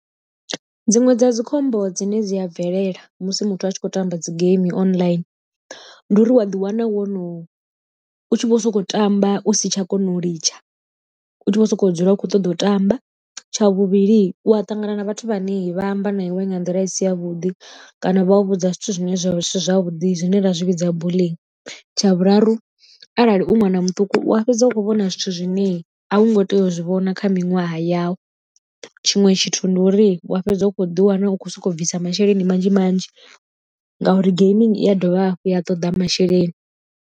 Dziṅwe dza dzi khombo dzine dzi a bvelela musi muthu a tshi khou tamba dzi game online ndi uri wa ḓi wana wo no u tshi vho sokou tamba u si tsha kona u litsha u tshi vho sokou dzula u kho ṱoḓa u tamba. Tsha vhuvhili u a ṱangana na vhathu vhane vha amba na iwe nga nḓila i si ya vhuḓi kana vha u vhudza zwithu zwine zwa vha zwithu zwisi zwavhuḓi zwine ra zwi vhidza bulling. Tsha vhuraru arali u ṅwana muṱuku wa fhedza u a fhedza u kho vhona zwithu zwine a u ngo tea u zwi vhona kha miṅwaha yau tshiṅwe tshithu ndi uri wa fhedza u kho ḓi wana u khou soko bvisa masheleni manzhi manzhi ngauri geimini i a dovha hafhu ya toḓa masheleni.